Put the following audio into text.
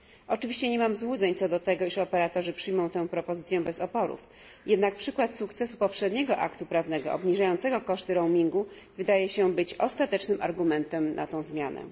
Oczywiście nie mam złudzeń co do tego, iż operatorzy przyjmą tę propozycję bez oporów, jednak przykład sukcesu poprzedniego aktu prawnego obniżającego koszty roamingu wydaje się być ostatecznym argumentem za tą zmianą.